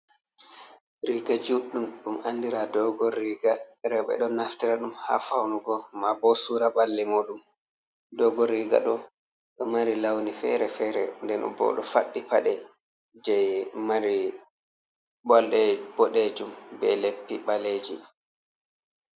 Riga juɗɗum ɗum andira dogon riga, rewɓe ɗon naftira ɗum ha faunugo ma bo sura balle muɗum. Doggon riga ɗo ɗo mari launi fere-fere den bo ɗo faddi pade je mari bolɗe boɗejum be leppi ɓaleji.